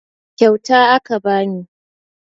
Kyauta aka bani